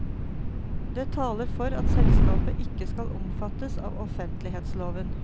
Det taler for at selskapet ikke skal omfattes av offentlighetsloven.